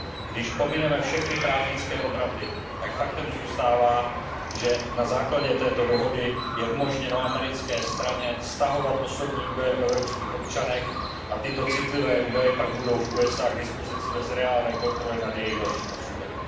Když pomineme všechny právnické obraty, tak faktem zůstává, že na základě této dohody je umožněno americké straně stahovat osobní údaje o evropských občanech a tyto citlivé údaje pak budou ve Spojených státech amerických k dispozici bez reálné kontroly nad jejich dalším osudem.